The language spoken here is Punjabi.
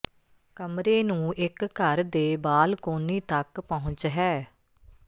ਕਮਰੇ ਨੂੰ ਇੱਕ ਘਰ ਦੇ ਬਾਲਕੋਨੀ ਤੱਕ ਪਹੁੰਚ ਹੈ